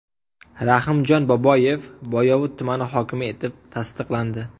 Rahimjon Boboyev Boyovut tumani hokimi etib tasdiqlandi.